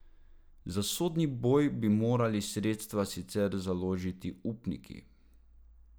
Za sodni boj bi morali sredstva sicer založiti upniki.